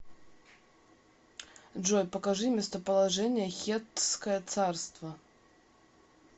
джой покажи местоположение хеттское царство